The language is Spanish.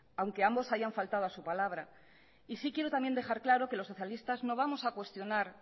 aunque ambos hayan faltado a su palabra y sí quiero también dejar claro que los socialistas no vamos a cuestionar